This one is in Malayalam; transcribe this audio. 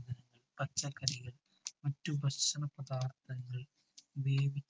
വേവി